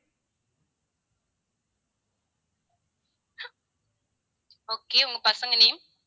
okay உங்க பசங்க name